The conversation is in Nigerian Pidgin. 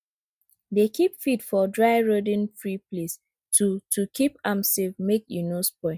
dey keep feed for dry rodentfree place to to keep am safe make e no spoil